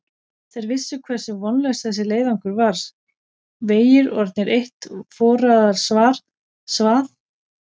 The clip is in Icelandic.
Þeir vissu hversu vonlaus þessi leiðangur var, vegir orðnir eitt forarsvað og látlaust rigndi.